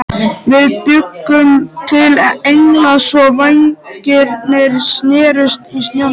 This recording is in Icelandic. Við bjuggum til engla svo vængirnir snertust í snjónum.